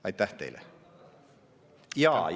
" Aitäh teile!